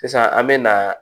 Sisan an me na